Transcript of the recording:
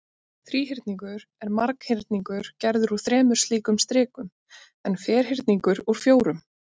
Þríhyrningur er marghyrningur gerður úr þremur slíkum strikum en ferhyrningur úr fjórum.